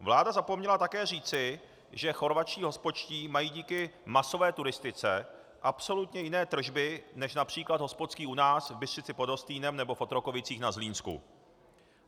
Vláda zapomněla také říci, že chorvatští hospodští mají díky masové turistice absolutně jiné tržby než například hospodský u nás v Bystřici pod Hostýnem nebo v Otrokovicích za Zlínsku.